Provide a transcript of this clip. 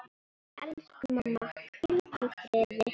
Elsku mamma, hvíldu í friði.